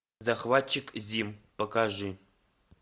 захватчик зим покажи